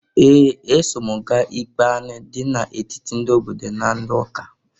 Ee! Eso m gaa ikpe anị dị n'etiti ndị obodo na ndị ụka.